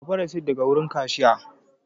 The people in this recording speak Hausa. Ki karɓa risit daga wurin kashiya!